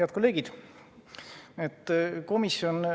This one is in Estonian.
Head kolleegid!